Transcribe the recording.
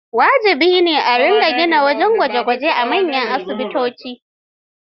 Wajibi ne a gina wajen gwaje-gwaje a manyan asibitoci.